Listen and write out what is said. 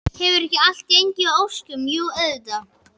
Hefur ekki allt gengið að óskum, jú auðvitað.